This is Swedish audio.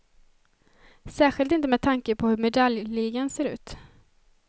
Särskilt inte med tanke på hur medaljligan ser ut.